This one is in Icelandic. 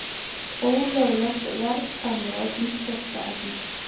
Ólöglegt verðsamráð um þvottaefni